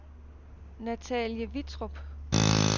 Natalie Vittrup